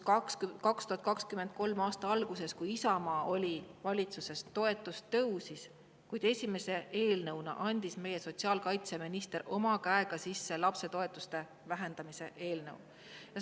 2023. aasta alguses, kui Isamaa oli valitsuses, toetus tõusis, ja esimese eelnõuna andis meie sotsiaalkaitseminister oma käega sisse lapsetoetuste vähendamise.